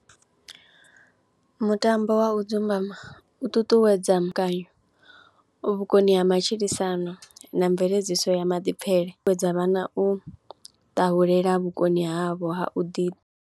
Mutambo wa u dzumbama u ṱuṱuwedza vhukoni ha matshilisano na mveledziso ya maḓipfhele, ṱuṱuwedza vhana u ṱahulela vhukoni havho ha u ḓi.